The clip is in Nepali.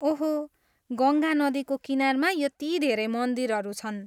ओहो, गङ्गा नदीको किनारमा यति धेरै मन्दिरहरू छन्।